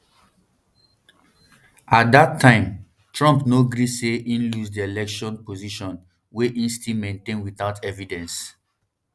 at di time trump no agree say im lose di election position wey e still maintain without evidence